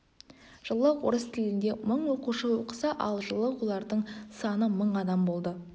жылы орыс тілінде мың оқушы оқыса ал жылы олардың саны мың адам болды